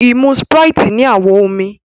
imú Sprite ní awọ omí.